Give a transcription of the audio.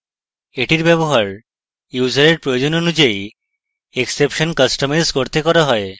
এটির ব্যবহার ইউসারের প্রয়োজন অনুযায়ী exception কাস্টমাইজ করতে করা হয়